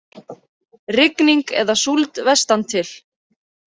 Rigning eða súld vestantil